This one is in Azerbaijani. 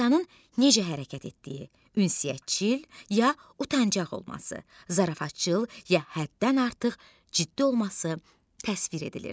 İnsanın necə hərəkət etdiyi, ünsiyyətcil ya utancaq olması, zarafatcıl ya həddən artıq ciddi olması təsvir edilir.